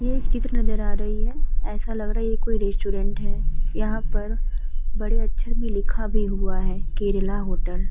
ये एक चित्र नजर आ रही है। ऐसा लग रहा है ये कोई रेस्टॉरेंट है। यहाँ पर बड़े अक्षर में लिखा भी हुआ है केरला होटल ।